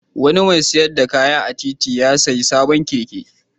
Wani mai sayar da kaya a titi ya sayi sabon keke.